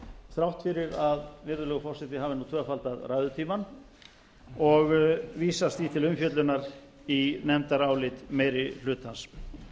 þrátt fyrir að virðulegur forseti hafi nú tvöfaldað ræðutímann og vísast því til umfjöllunar í nefndarálit meiri hlutans